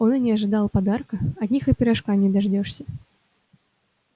он и не ожидал подарка от них и пирожка не дождёшься